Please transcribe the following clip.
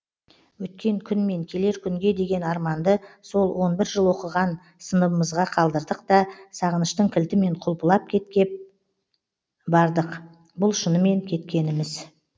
өткен күн мен келер күнге деген арманды сол он бір жыл оқығанған сыныбымызға қалдырдық да сағыныштың кілтімен құлпылап кеткеп бардық бұл шынымен кеткеніміз